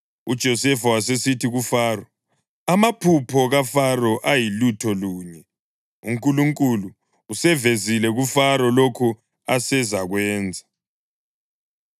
UJosefa wasesithi kuFaro, “Amaphupho kaFaro ayilutho lunye. UNkulunkulu usevezile kuFaro lokho asezakwenza.